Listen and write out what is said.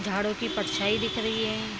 झाड़ू की परछाई दिख रही है।